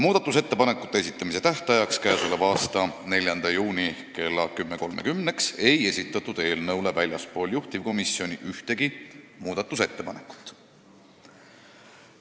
Muudatusettepanekute esitamise tähtajaks, k.a 4. juuniks kella 10.30-ks ei esitatud eelnõu kohta väljastpoolt juhtivkomisjoni ühtegi muudatusettepanekut.